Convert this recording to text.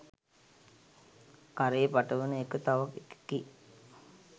කරේ පටවන එක තව එකකි.